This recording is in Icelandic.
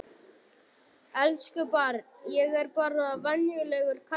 Elsku barn, ég er bara venjulegur karlmaður.